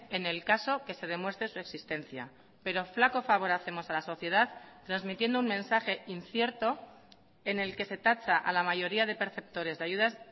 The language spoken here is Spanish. en el caso que se demuestre su existencia pero flaco favor hacemos a la sociedad transmitiendo un mensaje incierto en el que se tacha a la mayoría de perceptores de ayudas